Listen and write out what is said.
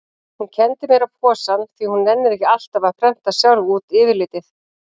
Hún kenndi mér á posann því hún nennir ekki alltaf að prenta sjálf út yfirlitið.